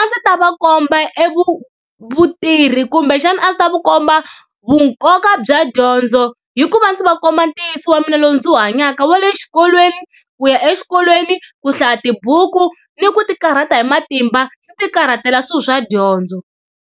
A ndzi ta va komba vutivi kumbexana a ndzi ta va komba vunkoka bya dyondzo hi ku va ndzi va komba ntiyiso wa mina lowu ndzi wu hanyaka wa le xikolweni ku ya exikolweni, ku hlaya tibuku ni ku ti karhata hi matimba ndzi ti karhatela swilo swa dyondzo.